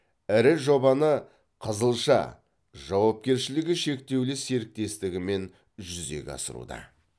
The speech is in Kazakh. ірі жобаны қызылша жауапкершілігі шектеулі серіктестігі мен жүзеге асыруда